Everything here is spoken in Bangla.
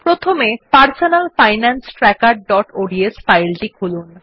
প্রথমে personal finance trackerঅডস ফাইলটি খুলুন